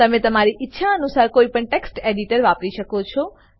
તમે તમારી ઈચ્છા અનુસાર કોઈ પણ ટેક્સ્ટ એડિટર વાપરી શકો છો